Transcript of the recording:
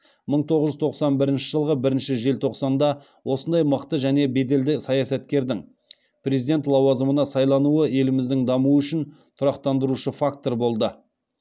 мың тоғыз жүз тоқсан бірінші жылғы бірінші желтоқсанда осындай мықты және беделді саясаткердің президент лауазымына сайлануы еліміздің дамуы үшін тұрақтандырушы фактор болды